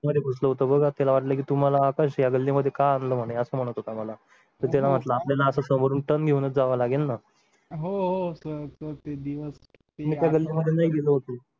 फसवतो त्याला वाटले की तुम्हाला आकाश या गल्लीमध्ये का आणलं म्हणे असं म्हणत होता मला तर त्याला वाटलं आपल्याला समोरून ton घेऊन जावं लागेल ना हो हो sir ते दिवस मी त्या गल्लीमध्ये नाही गेलो होतो.